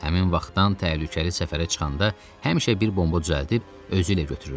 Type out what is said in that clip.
Həmin vaxtdan təhlükəli səfərə çıxanda həmişə bir bomba düzəldib özü ilə götürürdü.